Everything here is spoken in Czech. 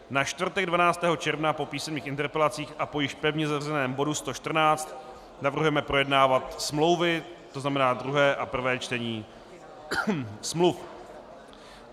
Na čtvrtek 12. června po písemných interpelacích a po již pevně zařazeném bodu 114 navrhujeme projednávat smlouvy, to znamená druhé a prvé čtení smluv.